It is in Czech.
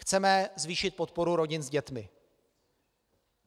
Chceme zvýšit podporu rodin s dětmi.